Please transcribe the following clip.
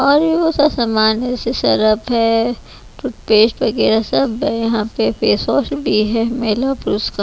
और वो सा सामान जैसे सरप है टूथपेस्ट वगैरह सब है यहाँ पे फेस वॉश भी है महिला पुरुष का।